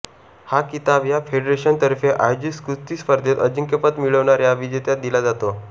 हा किताब या फेडरेशन तर्फे आयोजित कुस्ती स्पर्धेत अजिंक्यपद मिळविणाऱ्या विजेत्यास दिल्या जातो